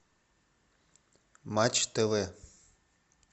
матч тв